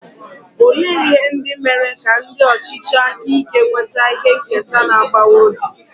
Olee ihe ndị mere ka ndị ọchịchị aka ike nweta ihe nketa na-agbawa obi?